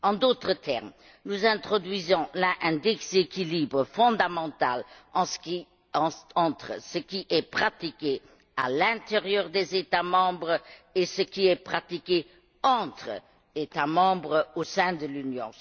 En d'autres termes, nous introduisons là un déséquilibre fondamental entre ce qui est pratiqué à l'intérieur des États membres et ce qui est pratiqué entre les États membres au sein de l'Union.